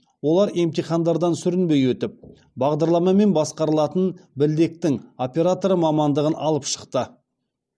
олар емтихандардан сүрінбей өтіп бағдарламамен басқарылатын білдектің операторы мамандығын алып шықты